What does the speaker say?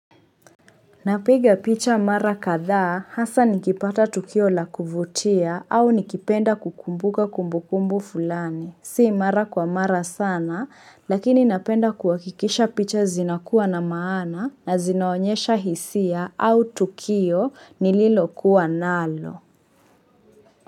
Napiga picha mara kadhaa hasa nikipata tukio la kuvutia au nikipenda kukumbuka kumbukumbu fulani. Si mara kwa mara sana lakini napenda kuhakikisha picha zinakuwa na maana na zinaonyesha hisia au tukio nililokuwa nalo.